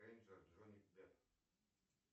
рейнджер джонни депп